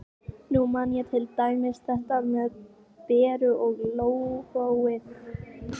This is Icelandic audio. Ásgeir Gunnar Ásgeirsson EKKI erfiðasti andstæðingur?